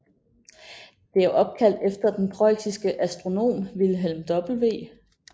Det er opkaldt efter den prøjsiske astronom Wilhelm W